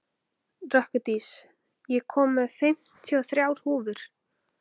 Rökkurdís, ég kom með fimmtíu og þrjár húfur!